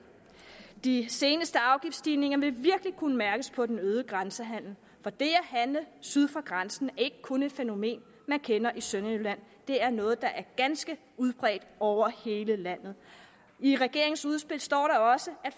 de seneste afgiftsstigninger vil virkelig kunne mærkes på den øgede grænsehandel for det at handle syd for grænsen er ikke kun et fænomen man kender i sønderjylland det er noget der er ganske udbredt over hele landet i regeringens udspil står der også at